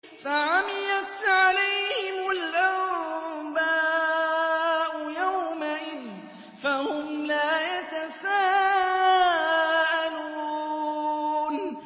فَعَمِيَتْ عَلَيْهِمُ الْأَنبَاءُ يَوْمَئِذٍ فَهُمْ لَا يَتَسَاءَلُونَ